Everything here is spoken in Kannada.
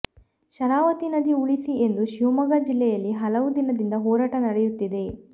ಶರಾವತಿ ನದಿ ಉಳಿಸಿ ಎಂದು ಶಿವಮೊಗ್ಗ ಜಿಲ್ಲೆಯಲ್ಲಿ ಹಲವು ದಿನದಿಂದ ಹೋರಾಟ ನಡೆಯುತ್ತಿದೆ